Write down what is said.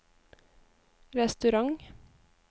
restaurant